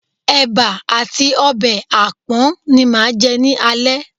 Ẹ̀bà àti ọbẹ̀ àpọ̀n ni màá jẹ́ ní alẹ́